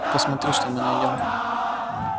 посмотрим что мы найдём